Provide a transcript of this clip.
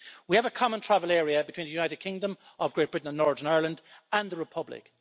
We have a common travel area between the United Kingdom of Great Britain and Northern Ireland and the Republic.